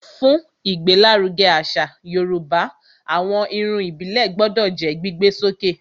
Fún ìgbé l'áruge àṣà yorùbá, àwọn Irun ìbílè gbodò jó gbígbé sókè